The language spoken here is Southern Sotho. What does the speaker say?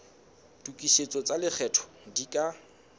tokisetso tsa lekgetho di ka